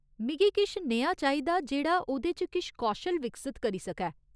मिगी किश नेहा चाहिदा जेह्ड़ा ओह्‌दे च किश कौशल विकसत करी सकै।